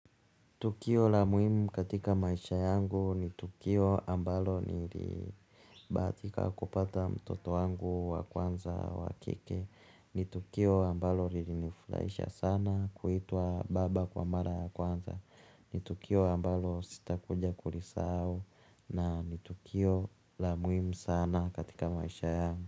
Tukio la muhimu katika maisha yangu ni tukio ambalo nilibahatika kupata mtoto wangu wa kwanza wa kike. Ni tukio ambalo linifurahisha sana kuitwa baba kwa mara ya kwanza ni tukio ambalo sitakuja kulisahau na ni tukio la muhimu sana katika maisha yangu.